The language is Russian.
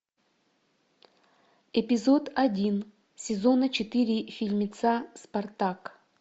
эпизод один сезона четыре фильмеца спартак